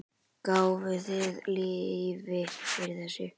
Gáfuð þið leyfi fyrir þessu?